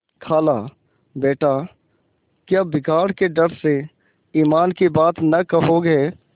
खालाबेटा क्या बिगाड़ के डर से ईमान की बात न कहोगे